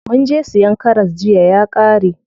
Munje siyan karas jiya ya ƙare.